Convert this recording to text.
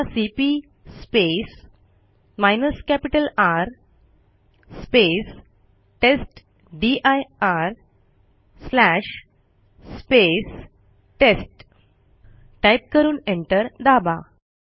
आता CP R टेस्टदीर test type करून एंटर दाबा